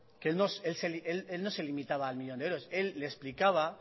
que él no se limitaba al millón de euros él le explicaba